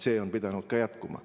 See on pidanud ka jätkuma.